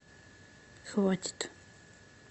хватит